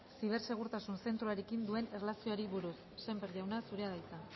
zibersegurtasun zentroarekin duen erlazioari buruz sémper jauna zurea da hitza